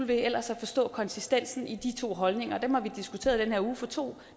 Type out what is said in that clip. ved ellers at forstå konsistensen i de to holdninger og dem har vi diskuteret i den her uge for to